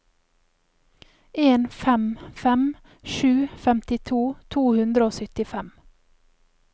en fem fem sju femtito to hundre og syttifem